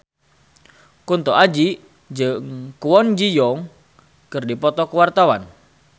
Kunto Aji jeung Kwon Ji Yong keur dipoto ku wartawan